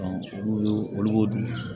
olu y'o olu b'o dun